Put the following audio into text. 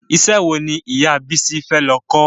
Ìṣe wo ni ìyà Bísí fẹ́ lọ kọ́?